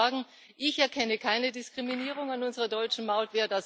Ich kann nur sagen Ich erkenne keine Diskriminierung in unserer deutschen Maut.